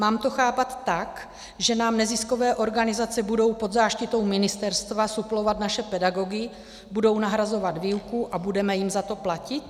Mám to chápat tak, že nám neziskové organizace budou pod záštitou ministerstva suplovat naše pedagogy, budou nahrazovat výuku a budeme jim za to platit?